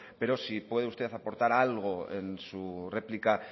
pero si puede usted aportar algo en su réplica